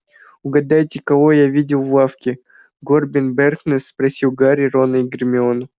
угадайте кого я видел в лавке горбин и бэркес спросил гарри рона и гермиону